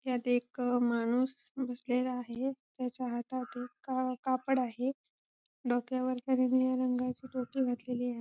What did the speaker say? यात एक माणूस बसलेला आहे त्याच्या हातात एक का कापड आहे डोक्यावर त्याने निळ्या रंगाची टोपी घातलेली आ--